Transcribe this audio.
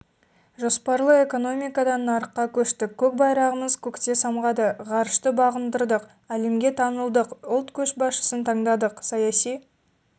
жоспарлы экономикадан нарыққа көштік көк байрағымыз көкте самғады ғарышты бағындырдық әлемге танылдық ұлт көшбасшысын таңдадық саяси